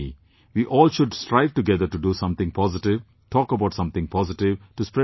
We all should strive together to do something positive, talk about something positive, to spread something positive